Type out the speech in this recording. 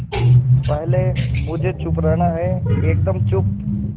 पहले मुझे चुप रहना है एकदम चुप